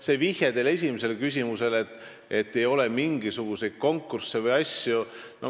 See teie vihje esimeses küsimuses, et ei ole mingisuguseid konkursse või asju.